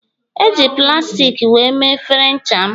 Eji plastik wee mee efere ncha m